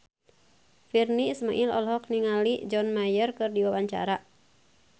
Virnie Ismail olohok ningali John Mayer keur diwawancara